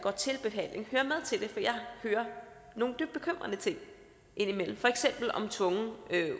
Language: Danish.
hører nogle dybt bekymrende ting indimellem for eksempel om tvungen